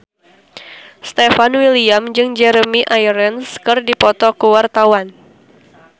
Stefan William jeung Jeremy Irons keur dipoto ku wartawan